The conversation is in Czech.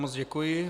Moc děkuji.